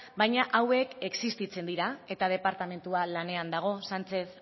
baina hauek existitzen dira eta departamentua lanean dago sánchez